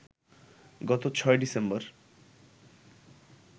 গত ৬ ডিসেম্বর